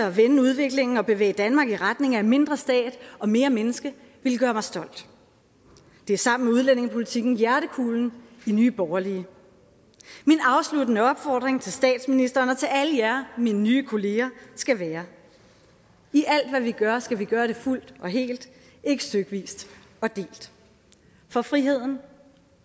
at vende udviklingen og bevæge danmark i retning af mindre stat og mere menneske ville gøre mig stolt det er sammen med udlændingepolitikken hjertekulen i nye borgerlige min afsluttende opfordring til statsministeren og til alle jer mine nye kolleger skal være i alt hvad vi gør skal vi gøre det fuldt og helt ikke stykvist og delt for friheden